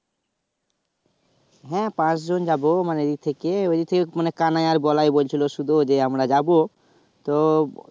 হ্যাঁ পাচ জন যাবো মানে এই দিক থেকে ঐ দিক থেকে মানে কানাই আর বলাই বলছিলো শুধু ঐ যে আমরা যাবো তো